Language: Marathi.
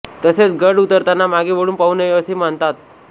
तसेच गड उतरताना मागे वळून पाहू नये असे मानतात